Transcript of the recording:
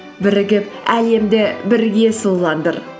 бірігіп әлемді бірге сұлуландыр